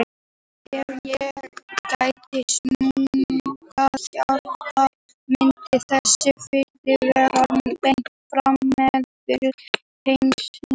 Ef ekki gætti snúnings jarðar myndi þessi flutningur vera beint frá miðbaug að heimskautunum.